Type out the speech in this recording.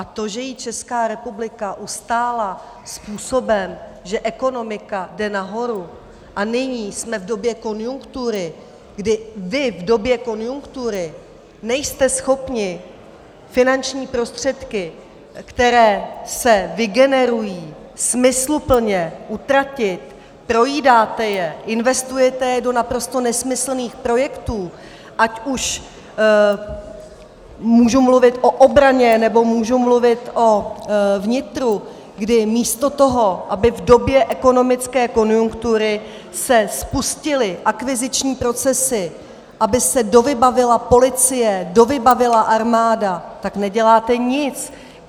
A to, že ji Česká republika ustála způsobem, že ekonomika jde nahoru a nyní jsme v době konjunktury, kdy vy v době konjunktury nejste schopni finanční prostředky, které se vygenerují, smysluplně utratit, projídáte je, investujete je do naprosto nesmyslných projektů, ať už můžu mluvit o obraně, nebo můžu mluvit o vnitru, kdy místo toho, aby v době ekonomické konjunktury se spustily akviziční procesy, aby se dovybavila policie, dovybavila armáda, tak neděláte nic.